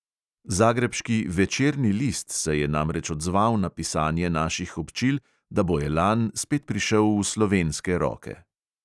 Zagrebški večerni list se je namreč odzval na pisanje naših občil, da bo elan spet prišel v slovenske roke.